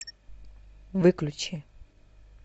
выключи